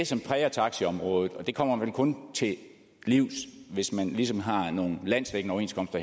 som præger taxiområdet og det kommer man vel kun til livs hvis man ligesom har nogle landsdækkende overenskomster